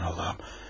Aman Allahım.